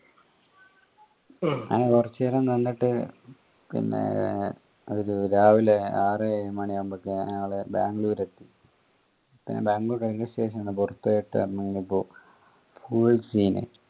അങ്ങനെ കൊറച്ചു നേരം നിന്നിട്ട് പിന്നെ രാവിലെ ആർ മണിയാവുമ്പോഴേക്ക് ഏഹ് നമ്മൾ ബാംഗ്ലൂർ എത്തി പിന്നെ ബാംഗ്ലൂർ railway station ന്നു പൊറത്തോട്ട് വന്ന് കഴിഞ്ഞപ്പോ full scene